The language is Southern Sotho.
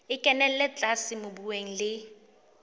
e kenella tlase mobung le